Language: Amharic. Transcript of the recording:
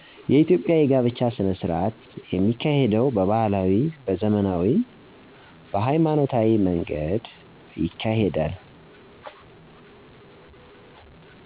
የኢትዮጵያ የጋብቻ ሥነሥርዓት የሚካሄደው በባህላዊ፣ በዘመናዊ፣ በሀይማኖታዊ መንገድ ይካሄዳል